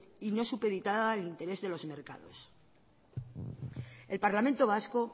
y no supeditadas al interés de los mercados el parlamento vasco